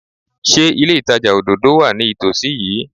Ṣé ilé ìtajà òdòdó wà ní ìtòsí yìí?